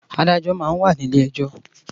Àdájò mà n wá ni ilé èjò